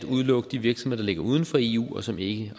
udelukke de virksomheder der ligger uden for eu og som vi